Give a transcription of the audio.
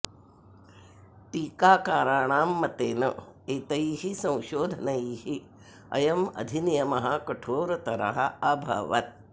टीकाकारणां मतेन एतैः संशोधनैः अयम् अधिनियमः कठोरतरः अभवत्